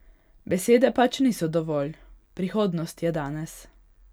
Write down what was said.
Besede pač niso dovolj, prihodnost je danes.